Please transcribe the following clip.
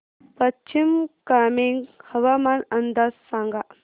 पश्चिम कामेंग हवामान अंदाज सांगा